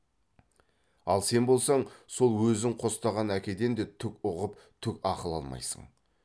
ал сен болсаң сол өзің қостаған әкеден де түк ұғып түк ақыл алмайсың